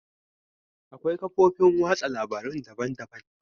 Akwai kafofin watsa labarun daban-daban.